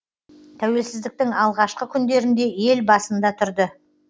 тәуелсіздіктің алғашқы күндерінде ел басында тұрды